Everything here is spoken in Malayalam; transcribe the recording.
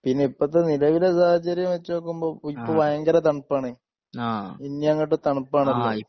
പിന്നെ ഇപ്പത്തെ നിലവിലെ സാഹചര്യം വച്ചുനോക്കുമ്പോ ഇപ്പോ ഭയങ്കര തണുപ്പാണ് ഇനിയങ്ങോട്ട് തണുപ്പാണല്ലോ?